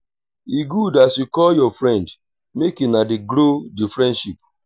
e good as you call your friend make una dey grow di friendship.